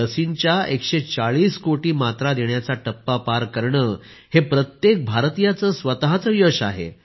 लसींच्या 140 कोटी मात्रा देण्याचा टप्पा पार करणे हे प्रत्येक भारतीयाचे स्वतःचे यश आहे